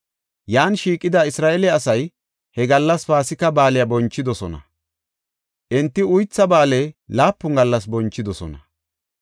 Yan shiiqida Isra7eele asay he gallas Paasika Baaliya bonchidosona; enti Uytha Ba7aale laapun gallas bonchidosona.